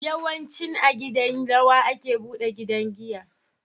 Yawanci a gidan rawa ake buɗe wajan giya